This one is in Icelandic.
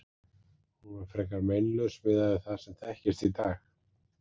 Hún var frekar meinlaus miðað við það sem þekkist í dag.